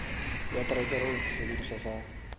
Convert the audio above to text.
ya terekere le sesebediswa sa